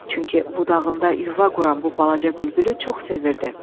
Çünki budağında yuva quran bu balaca bülbülü çox sevirdi.